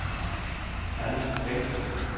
Anni Bengtsen